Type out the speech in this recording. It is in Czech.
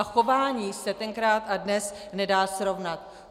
A chování se tenkrát a dnes nedá srovnat.